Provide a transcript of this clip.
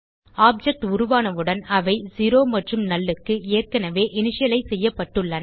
object உருவானவுடன் அவை 0 மற்றும் நல் க்கு ஏற்கனவே இன்டியலைஸ் செய்ய்ப்பட்டுள்ளன